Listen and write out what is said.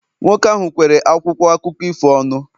nwoke ahụ kwere akwụkwọ akụkọ ifo ọnụ